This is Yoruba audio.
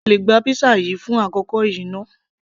sé o lè gba pizza yìí fún àkókò yìí náà